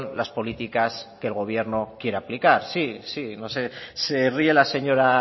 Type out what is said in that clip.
las políticas que el gobierno quiere aplicar sí sí no sé se ríe la señora